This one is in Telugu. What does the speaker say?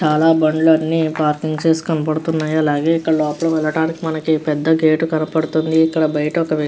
చాలా బండ్లన్నీ పార్కింగ్ చేసి కనపడుతున్నాయి అలాగే ఇక్కడ లోపలికి వెళ్ళడానికి మనకి పెద్ద గేటు కనపడుతుంది ఇక్కడ బయట ఒక వ్యక్తి --